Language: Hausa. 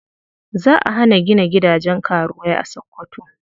Za a hana gina gidajen karuwai a Sokoto.